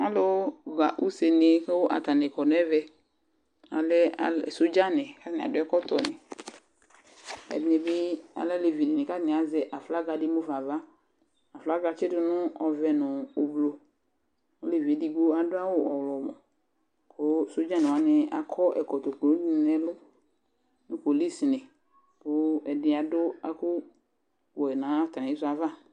Alʋɣa usenɩ kʋ atanɩ kɔ nʋ ɛvɛ Alɛ al sodzanɩ kʋ atanɩ adʋ ɛkɔtɔnɩ Ɛdɩnɩ bɩ alɛ alevinɩ kʋ atanɩ azɛ aflaga dɩ mu fa ava Aflaga yɛ atsɩdʋ nʋ ɔvɛ nʋ ɔblʋ Olevi yɛ edigbo adʋ awʋ ɔɣlɔmɔ kʋ sodzanɩ wanɩ akɔ ɛkɔtɔ kulunɩ nʋ ɛlʋ nʋ polisnɩ kʋ ɛdɩnɩ adʋ ɛkʋwɛ nʋ atamɩ sʋ yɛ ava